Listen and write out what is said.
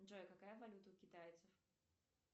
джой какая валюта у китайцев